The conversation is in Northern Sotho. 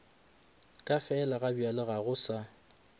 ka felagabjale ga go sa